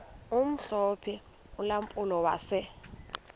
omhlophe ulampulo wase